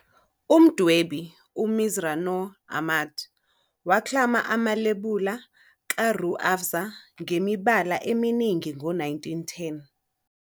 Umdwebi, uMirza Noor Ahmad, waklama amalebula kaRooh Afza ngemibala eminingi ngo-1910.